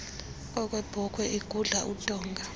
okwebhokhwe igudla udonga